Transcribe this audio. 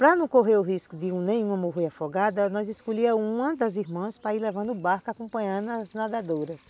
Para não correr o risco de um nenhum morrer afogado, nós escolhíamos uma das irmãs para ir levando o barco acompanhando as nadadoras.